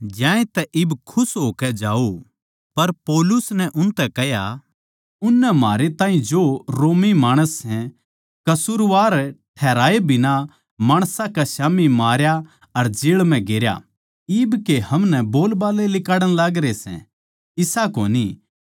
पर पौलुस नै उनतै कह्या उननै म्हारै ताहीं जो रोमी माणस सै कसूरवार ठहराए बिना माणसां कै स्याम्ही मारया अर जेळ म्ह गेरया इब के हमनै बोलबाल्ले लिकाड़ण लागरे सै इसा कोनी पर वे खुद आकै हमनै बाहरणै लिकाड़ै